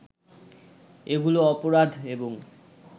এগুলো অপরাধ এবং